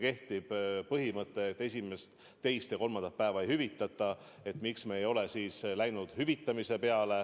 Kehtib ju põhimõte, et esimest, teist ja kolmandat päeva ei hüvitata.